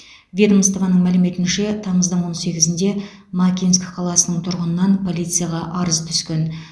ведомствоның мәліметінше тамыздың он сегізінде макинск қаласының тұрғынынан полицияға арыз түскен